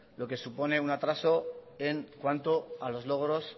lo que supone un atraso en cuanto a los logros